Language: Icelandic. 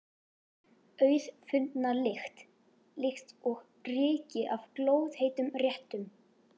Auðfundna lykt, líkt og ryki af glóðheitum réttum.